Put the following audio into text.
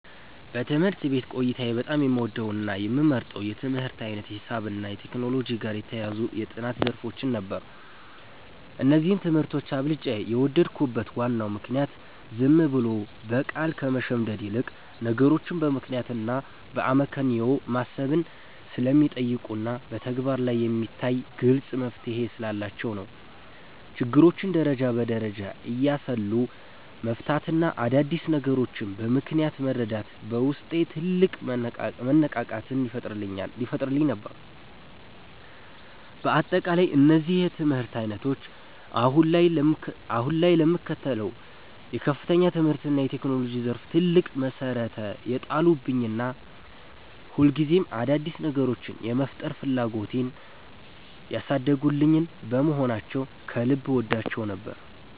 በትምህርት ቤት ቆይታዬ በጣም የምወደውና የምመርጠው የትምህርት ዓይነት ሂሳብንና ከቴክኖሎጂ ጋር የተያያዙ የጥናት ዘርፎችን ነበር። እነዚህን ትምህርቶች አብልጬ የወደድኩበት ዋናው ምክንያት ዝም ብሎ በቃል ከመሸምደድ ይልቅ፣ ነገሮችን በምክንያትና በአመክንዮ ማሰብን ስለሚጠይቁና በተግባር ላይ የሚታይ ግልጽ መፍትሔ ስላላቸው ነው። ችግሮችን ደረጃ በደረጃ እያሰሉ መፍታትና አዳዲስ ነገሮችን በምክንያት መረዳት በውስጤ ትልቅ መነቃቃትን ይፈጥርልኝ ነበር። በአጠቃላይ እነዚህ የትምህርት ዓይነቶች አሁን ላይ ለምከተለው የከፍተኛ ትምህርትና የቴክኖሎጂ ዘርፍ ትልቅ መሠረት የጣሉልኝና ሁልጊዜም አዳዲስ ነገሮችን የመፍጠር ፍላጎቴን ያሳደጉልኝ በመሆናቸው ከልብ እወዳቸው ነበር።